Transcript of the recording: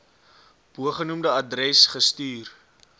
bogenoemde adres gestuur